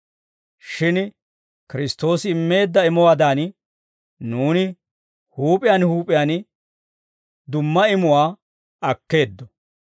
Shin Kiristtoosi immeedda imuwaadan, nuuni huup'iyaan huup'iyaan dumma imuwaa akkeeddo.